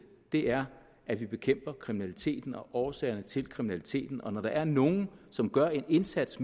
er at vi bekæmper kriminaliteten og årsagerne til kriminaliteten og når der er nogle som gør en indsats